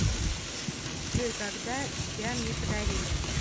джой когда тебя мне подарили